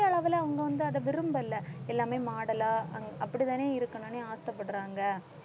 அளவுல அவங்க வந்து அதை விரும்பல எல்லாமே model ஆ அப்படித்தானே இருக்கணுன்னு ஆசைப்படறாங்க